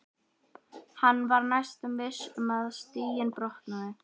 Hann var næstum viss um að stiginn brotnaði.